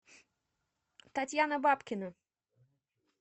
татьяна бабкина